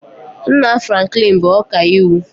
Nna Franklin bụ ọkaiwu